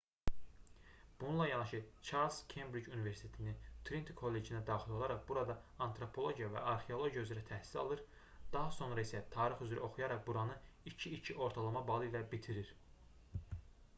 bununla yanaşı çarles kembric universitetinin triniti kollecinə daxil olaraq burada antropologiya və arxeologiya üzrə təhsil alır daha sonra isə tarix üzrə oxuyaraq buranı 2:2 ortalama balı ilə bitirir